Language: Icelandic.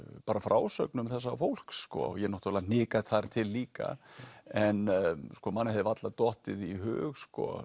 bara frásögnum þessa fólks ég náttúrulega hnika þar til líka en manni hefði varla dottið í hug